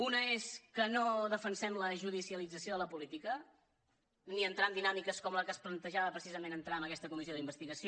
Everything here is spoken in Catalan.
una és que no defensem la judicialització de la política ni entrar en dinàmiques com la que es plantejava precisament d’entrar en aquesta comissió d’investigació